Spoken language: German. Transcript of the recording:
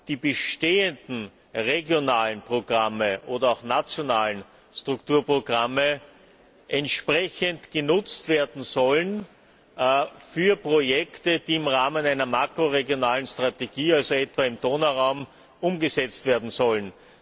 die bestehenden regionalen Programme oder auch nationalen Strukturprogramme entsprechend genutzt werden sollen für Projekte, die im Rahmen einer makroregionalen Strategie also etwa im Donauraum umgesetzt werden sollen.